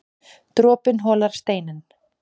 Dropinn holar steininn